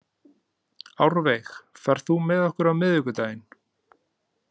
Árveig, ferð þú með okkur á miðvikudaginn?